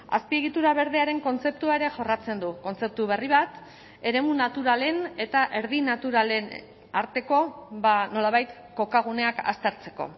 azpiegitura berdearen kontzeptua ere jorratzen du kontzeptu berri bat eremu naturalen eta erdi naturalen arteko nolabait kokaguneak aztertzeko